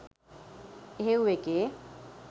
එහෙව් එකේ